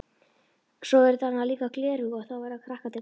Svo eru þarna líka gleraugu og þá verða krakkarnir glaðir.